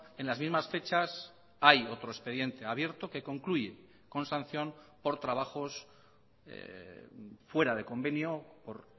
en las mismas fechas hay otro expediente abierto que concluye con sanción por trabajos fuera de convenio por